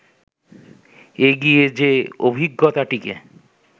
এগিয়ে যে-অভিজ্ঞতাটিকে